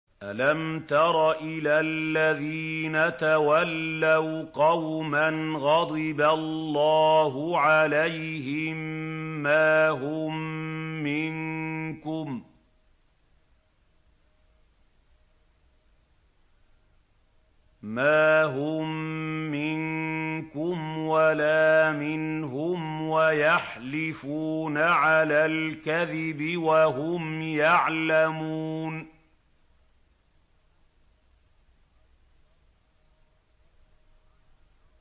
۞ أَلَمْ تَرَ إِلَى الَّذِينَ تَوَلَّوْا قَوْمًا غَضِبَ اللَّهُ عَلَيْهِم مَّا هُم مِّنكُمْ وَلَا مِنْهُمْ وَيَحْلِفُونَ عَلَى الْكَذِبِ وَهُمْ يَعْلَمُونَ